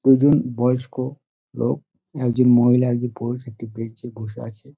দুই জন বয়স্ক লোক একজন মহিলা একজন পুরুষ একটি বেঞ্চ -এ বসে আছে।